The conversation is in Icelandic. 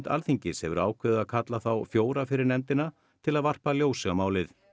Alþingis hefur ákveðið að kalla þá fjóra fyrir nefndina til að varpa ljósi á málið